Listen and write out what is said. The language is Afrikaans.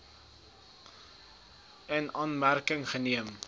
in aanmerking geneem